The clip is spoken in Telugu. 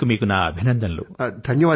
ఇందుకు గానీ మీకు నా అభినందనలు